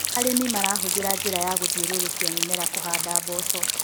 Arĩmi marahũthĩra njĩra ya gũthiũrũrũkia mĩmera kũhanda mboco.